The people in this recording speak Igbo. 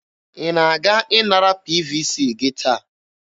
Ị na-aga ịnara PVC gị taa?